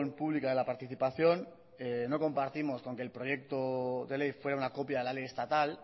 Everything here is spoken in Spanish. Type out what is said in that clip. pública de la participación no compartimos con que el proyecto de ley fuera una copia de la ley estatal